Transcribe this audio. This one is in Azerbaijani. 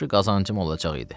Yaxşı qazancım olacaq idi.